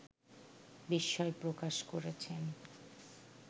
বিস্ময় প্রকাশ করেছেন